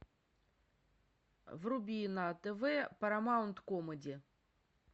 вруби на тв парамаунт комеди